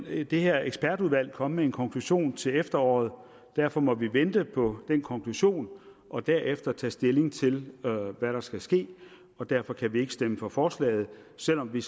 vil det her ekspertudvalg komme med en konklusion til efteråret derfor må vi vente på den konklusion og derefter tage stilling til hvad der skal ske og derfor kan vi ikke stemme for forslaget selv om vi